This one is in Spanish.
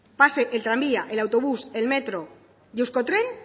pase el tranvía el autobús el metro y euskotren